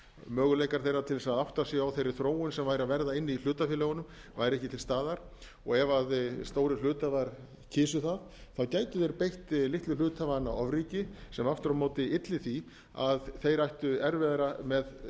möguleikar þeirra til þess að átta sig á þeirri þróun sem væri að verða inni í hlutafélögunum væri ekki til staðar og ef stórir hluthafar kysu það gætu þeir beygt litlu hluthafana ofríki sem aftur á móti ylli því að þeir ættu erfiðara um vik